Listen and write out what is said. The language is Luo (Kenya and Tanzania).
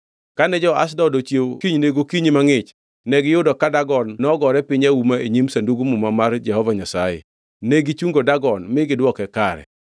Kane jo-Ashdod ochiewo kinyne gokinyi mangʼich negiyudo ka Dagon, nogore piny auma e nyim Sandug Muma mar Jehova Nyasaye! Negichungo Dagon mi gidwoke kare.